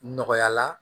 Nɔgɔya la